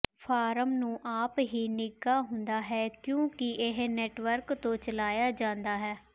farm ਨੂੰ ਆਪ ਹੀ ਨਿੱਘਾ ਹੁੰਦਾ ਹੈ ਕਿਉਂਕਿ ਇਹ ਨੈਟਵਰਕ ਤੋਂ ਚਲਾਇਆ ਜਾਂਦਾ ਹੈ